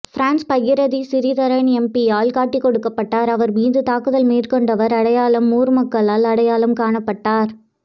France Bagirathi Sritharan எம்பியால் கட்டிக்கொடுக்கப்பட்டார் அவர் மீது தாக்குதல் மேற்கொண்டவர் அடையாளம் ஊர் மக்களால் அடையாளம் காணப்பட்டார்